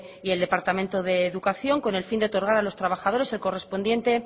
y el departamento de educación con el fin de otorgar a los trabajadores el correspondiente